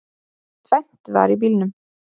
Tvennt var í bílunum.